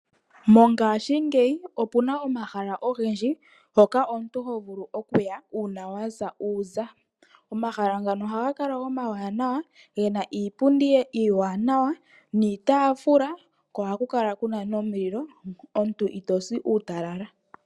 Mongashingeyi opu na omahala ogendje mpoka omuntu ho vulu okuya uuna wa sa uuza. Omahala ngano ohaga kala omawanawa, ge na iipundi iiwanawa niitaafula ko ohaku kala ku na nomulilo, omuntu ito si uutalala.